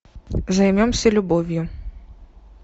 займемся любовью